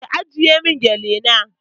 Ki ajiye mun gele na